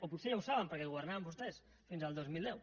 o potser ja ho saben perquè governaven vostès fins al dos mil deu